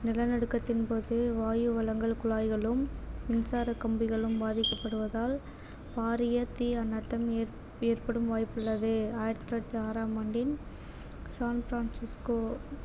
நிலநடுக்கத்தின் போது வாயு வளங்கள் குழாய்களும் மின்சார கம்பிகளும் பாதிக்கப்படுவதால் தீ அனர்த்தம் ஏற்படும் வாய்ப்பு உள்ளது ஆயிரத்தி தொள்ளாயிரத்தி ஆறாம் ஆண்டின் ஃசான் பிரான்சிஸ்கோ